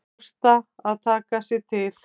Ásta að taka sig til.